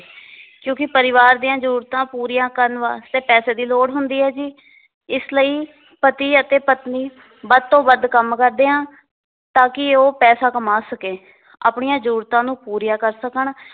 ਕਿਉਕਿ ਪਰਿਵਾਰ ਦੀਆਂ ਜਰੂਰਤਾਂ ਪੂਰੀਆਂ ਕਰਨ ਵਾਸਤੇ ਪੈਸੇ ਦੀ ਲੋੜ ਹੁੰਦੀ ਹੈ ਜੀ ਇਸ ਲਈ ਪਤੀ ਅਤੇ ਪਤਨੀ ਵੱਧ ਤੋਂ ਵੱਧ ਕੰਮ ਕਰਦੇ ਆ ਤਾਂਕਿ ਉਹ ਪੈਸੇ ਕਮਾ ਸਕੇ ਆਪਣੀਆਂ ਜਰੂਰਤਾਂ ਨੂੰ ਪੂਰੀਆਂ ਕਰ ਸਕਣ